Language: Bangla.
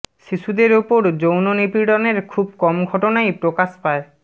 শিশুদের ওপর যৌন নিপীড়নের খুব কম ঘটনাই প্রকাশ পায়